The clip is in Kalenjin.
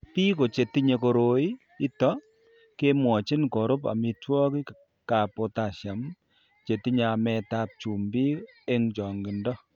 Biko che tinye koroi ito kemwochini korub amitwogikab potassium che tinye ametab chumbik eng' chang'indo.